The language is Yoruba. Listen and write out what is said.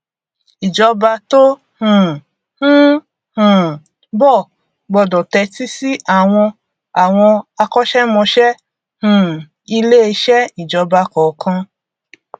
ìjọba tó um ń um bọ gbọdọ tẹtí sí àwọn àwọn akọṣẹmọṣẹ um iléeṣẹ ìjọba kọọkan